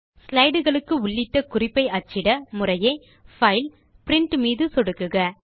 slide களுக்கு உள்ளிட்ட குறிப்பை அச்சிட முறையே பைல் பிரின்ட் ஐ சொடுக்குக